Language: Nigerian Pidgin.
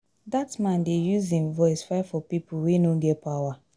Dat man dey use im voice fight for pipo wey no get power.